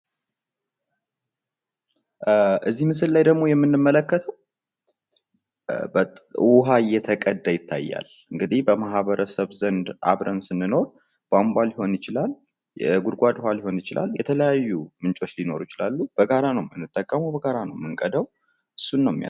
እዚህ ምስል ላይ ደግሞ የምንመለከተው ውሃ እየተቀዳ ይታያል። እንግዲህ በማህበረሰብ ዘንድ አብረን ስንኖር ቧንቧ ሊሆን ይችላል። የጉድጓድ ውሃ ሊሆን ይችላል። የተለያዩ ምንጮች ሊኖሩ ይችላሉ። በጋራ ነው የምንጠቀመው በጋራ ነው የምንቀዳው እሱን ነው የሚያሳየው።